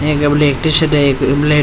एक black t-shirt है एक ब्लेक --